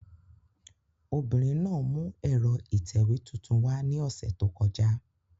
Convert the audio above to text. Obìnrin náà mú ẹ̀rọ ìtẹ̀wé tuntun wá ni ose to koja